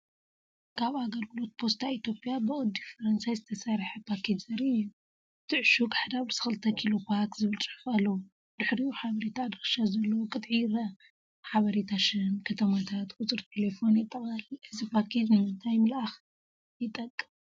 ካብ ኣገልግሎት ፖስታ ኢትዮጵያ ብቅዲ ፈረንሳ ዝተሰርሐ ፓኬጅ ዘርኢ እዩ። እቲ ዕሹግ “1/2 ኪሎ ፓክ” ዝብል ጽሑፍ ኣለዎ። ድሕሪኡ ሓበሬታ ኣድራሻ ዘለዎ ቅጥዒ ይርአ። ሓበሬታ ሽም፡ ከተማታት፡ ቁጽሪ ቴሌፎንን የጠቓልል። እዚ ፓኬጅ ንምንታይ ምልኣክ ይጠቅም?